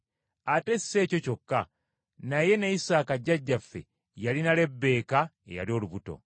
Ate si ekyo kyokka, naye ne Isaaka jjajjaffe yalina Lebbeeka eyali olubuto.